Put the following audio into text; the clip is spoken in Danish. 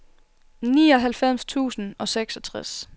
nioghalvfems tusind og seksogtres